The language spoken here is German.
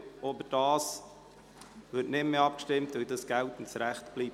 Darüber wird nicht mehr abgestimmt, weil es beim geltenden Recht bleibt.